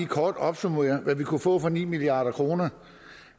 kort opsummere hvad vi kunne få for ni milliard kroner